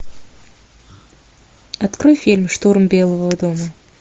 открой фильм штурм белого дома